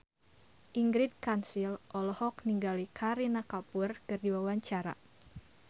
Ingrid Kansil olohok ningali Kareena Kapoor keur diwawancara